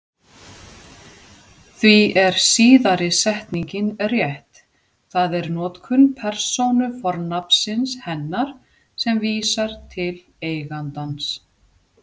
Því er síðari setningin rétt, það er notkun persónufornafnsins hennar sem vísar til eigandans.